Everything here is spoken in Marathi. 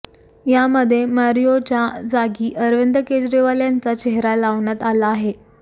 यामध्ये मारियोच्या जागी अरविंद केजरीवाल यांचा चेहरा लावण्यात आला आहे